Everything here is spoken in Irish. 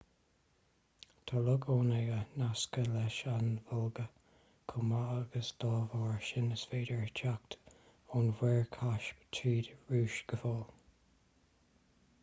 tá loch onega nasctha leis an volga chomh maith agus dá bharr sin is féidir teacht ón mhuir chaisp tríd an rúis go fóill